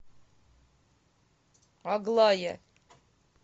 аглая